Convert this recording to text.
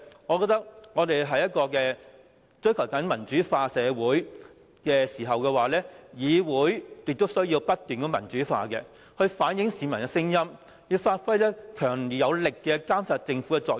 我覺得香港是一個追求民主的社會，議會亦需要不斷民主化以反映市民的聲音，發揮強而有力監察政府的作用。